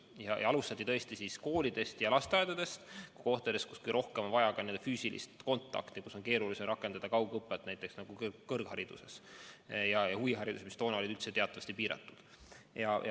Ja alustati koolidest ja lasteaedadest ning muudest kohtadest, kus kõige rohkem on vaja füüsilist kontakti, kus on keerulisem rakendada kaugõpet, nagu ka kõrgharidus ja huviharidus, mis toona üldse olid teatavasti piiratud.